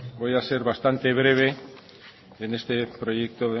voy a ser bastante breve en este proyecto